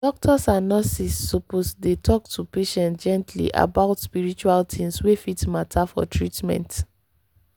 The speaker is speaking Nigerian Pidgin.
doctors and nurses suppose dey talk to patients gently about spiritual things wey fit matter for treatment.